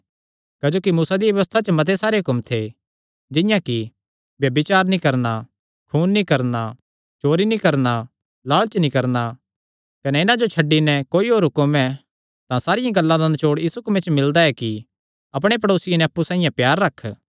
क्जोकि मूसा दिया व्यबस्था च मते सारे हुक्म थे जिंआं कि ब्यभिचार नीं करणा खून नीं करणा चोरी नीं करणा लालच नीं करणा कने इन्हां जो छड्डी नैं कोई होर हुक्म ऐ तां सारियां गल्लां दा नचौड़ इस हुक्मे च मिलदा ऐ कि अपणे प्ड़ेसिये नैं अप्पु साइआं प्यार रख